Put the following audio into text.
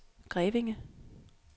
Grevinge